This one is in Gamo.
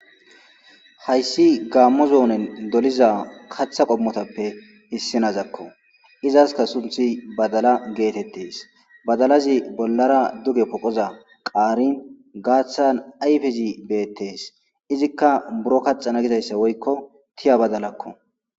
hayssi gaammo zoonen doliza katha qommotappe issinazakko izaska sunthi badala geetettes badalazi bollara duge poqoza qaarin gaaththan ayfizi beettes izikka buro kaxana gidayssa woykko tiya badalakko